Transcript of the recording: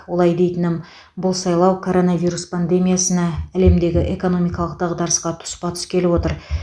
олай дейтінім бұл сайлау коронавирус пандемиясына әлемдегі экономикалық дағдарысқа тұспа тұс келіп отыр